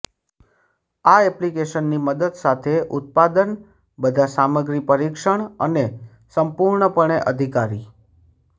આ એપ્લિકેશન ની મદદ સાથે ઉત્પાદન બધા સામગ્રી પરીક્ષણ અને સંપૂર્ણપણે અધિકારી